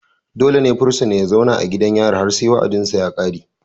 dole ne fursuna ya zauna a gidan yari har sai wa'adinsa ya kare.